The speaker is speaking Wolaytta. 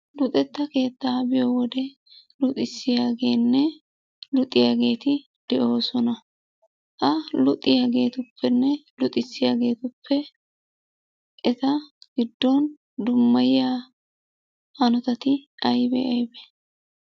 Luxetta keettaa biyo wode luxissiyaageenne luxiyaageeti de'oosona. Ha luxiyaagetuppenne luxissiyaageetuppe eta giddon dummayiya hanotati aybee aybee?